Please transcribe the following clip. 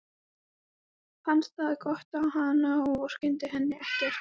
Fannst það gott á hana og vorkenndi henni ekkert.